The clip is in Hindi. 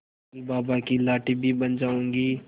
कल बाबा की लाठी भी बन जाऊंगी